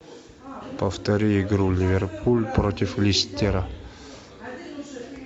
повтори игру ливерпуль против лестера